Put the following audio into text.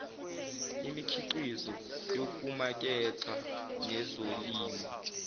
yemikhiqizo yokumaketha nezolimo